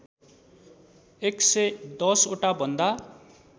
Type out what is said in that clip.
११० वटा भन्दा